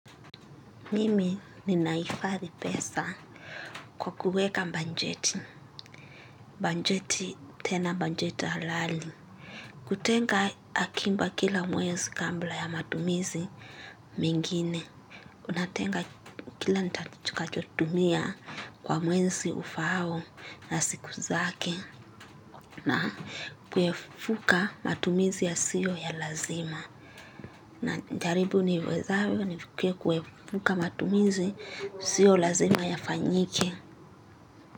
Mimi ninahifadhi pesa kwa kuweka bajeti, bajeti tena bajeti halali. Kutenga akiba kila mwezi kabla ya matumizi mengine. Natenga kila nitakachotumia kwa mwezi ufaao na siku zake na kuepuka matumizi yasiyo ya lazima. Najaribu niwezavyo nifikirie kuepuka matumizi sio lazima yafanyike.